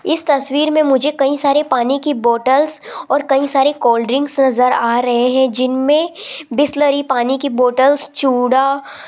इस तस्वीर में मुझे कई सारे पानी की बॉटल्स और कई सारी कोल्ड ड्रिंक्स नजर आ रहे हैं जिनमें बिसलेरी पानी की बॉटल्स चूड़ा --